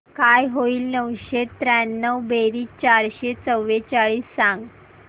काय होईल नऊशे त्र्याण्णव बेरीज चारशे चव्वेचाळीस सांग